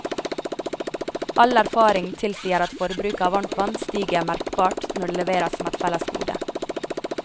All erfaring tilsier at forbruket av varmtvann stiger merkbart når det leveres som et fellesgode.